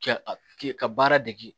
Kɛ ka baara dege